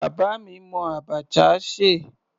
Bàbá mi mọ abacha ṣe.